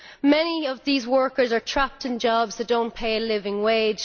Many of these workers are trapped in jobs that do not pay a living wage.